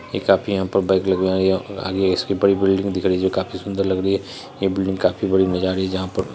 ये काफी यहाँ पे बाइक लगी हुई है और आगे इसके बड़ी बिल्डिंग दिख रही है जो काफी सुंदर लग रही है। ये बिल्डिंग काफी बडी नजर आ रही है जहाँ पर --